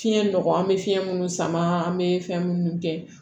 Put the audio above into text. Fiɲɛ nɔgɔ an bɛ fiɲɛ minnu sama an bɛ fɛn minnu kɛ